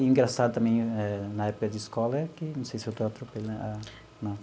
E engraçado também eh, na época de escola, é que... Não sei se eu estou atropelando a... Não.